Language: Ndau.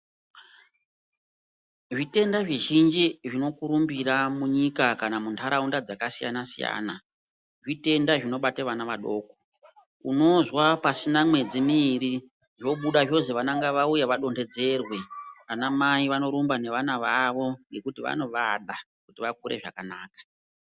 Zvitenda zvi zhinji zvino kurumbira munyika kana mundaraunda dzaka siyana siyana zvitenda zvinobata vana vadoko unozwa pasina mwedzi miiri zvobuda zvozi vana ngavauye vadondedzerwe ana mai vano rumba ne vana vawo ngekuti vanovada kuti vakure zvakanaka.